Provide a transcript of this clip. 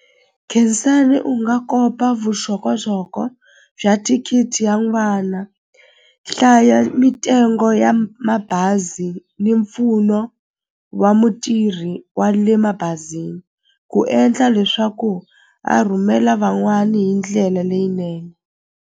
Khensani u nga kopa vuxokoxoko bya thikithi ya n'wana hlaya mitengo ya mabazi ni mpfuno wa mutirhi wa le mabazini ku endla leswaku a rhumela van'wani hi ndlela leyinene.